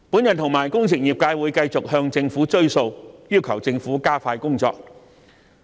我和工程業界會繼續向政府"追數"，要求政府加快工作。